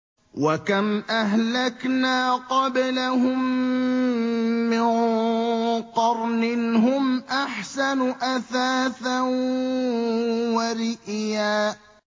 وَكَمْ أَهْلَكْنَا قَبْلَهُم مِّن قَرْنٍ هُمْ أَحْسَنُ أَثَاثًا وَرِئْيًا